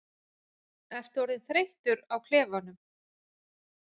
Ertu orðinn þreyttur á klefanum?